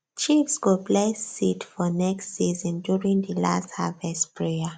chiefs go bless seed for next season during the last harvest prayer